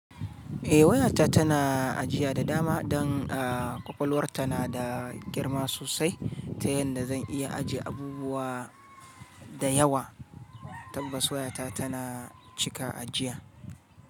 Eh wayata tana ajiya da dama don ƙwaƙwalwarta na da girma sosai ta yanda zan iya ajiye abubuwa da yawa. Tabbas wayata tana cika ajiya.